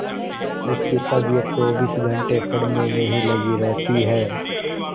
उसकी तबीयत चौबीस घंटे पढ़ने में ही लगी रहती है